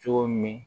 Cogo min